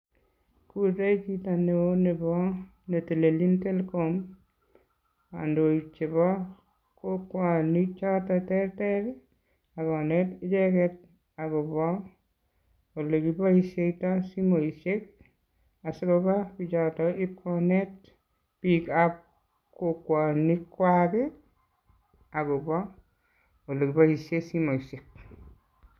Kure chito neo nebo netelelchin Telkom kandoik chebo kokwoni choton terter ii ak konet icheget agobo olekiboisietoi simoisiek asikoba pichoton ipkonet bikab kokwonikwak olekiboisiotoi simoisiek.